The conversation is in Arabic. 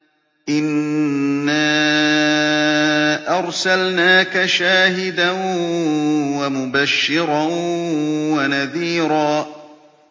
إِنَّا أَرْسَلْنَاكَ شَاهِدًا وَمُبَشِّرًا وَنَذِيرًا